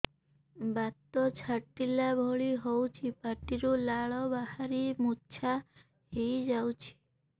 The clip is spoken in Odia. ବାତ ଛାଟିଲା ଭଳି ହଉଚି ପାଟିରୁ ଲାଳ ବାହାରି ମୁର୍ଚ୍ଛା ହେଇଯାଉଛି